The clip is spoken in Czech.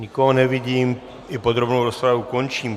Nikoho nevidím, i podrobnou rozpravu končím.